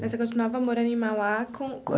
Mas você continuava morando em Mauá com com.